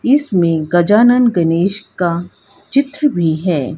इसमें गजानन गणेश का चित्र भी हैं।